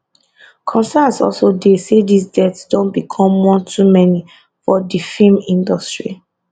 concerns also dey say dis deaths don become one too many for di feem industry